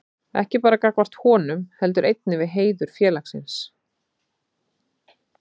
Ekki bara gagnvart honum, heldur einnig við heiður félagsins.